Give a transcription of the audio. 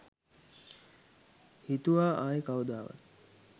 හිතුවා ආයෙ කවදාවත්.